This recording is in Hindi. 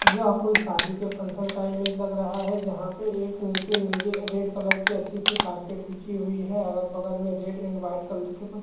यह कोई शादी के फंशन का इमेज लग रहा है जहाँ पे एक निचे नीले रेड कलर की अच्छी सी कारपेट बिछी हुई है अगल बगल में रेड एंड वाइट कलर की कुछ --